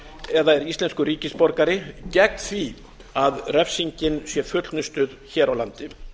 eða er íslenskur ríkisborgari eða því að refsingin sé fullnustuð hér á landi